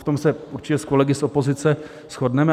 V tom se určitě s kolegy z opozice shodneme.